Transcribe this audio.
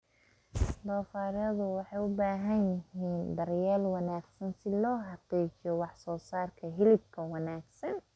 Doofaarradu waxay u baahan yihiin daryeel wanaagsan si loo xaqiijiyo wax soo saarka hilibka wanaagsan.